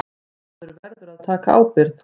Maður verður að taka ábyrgð.